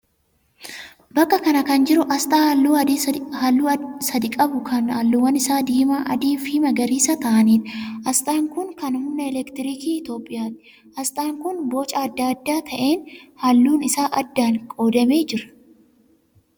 Bakka kana kan jiru asxaa halluu sadii qabu kan halluuwwan isaa diimaa, adii fi magariisa ta'aaniidha. Asxaan kun kan humna elektirikii Itiyoophiyaati. Asxaan kun booca adda ta'een halluun isaa addaan qoodamee jira.